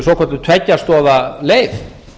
svokölluð tveggja stoða leið